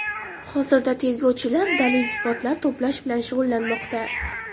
Hozirda tergovchilar dalil-isbotlar to‘plash bilan shug‘ullanmoqda.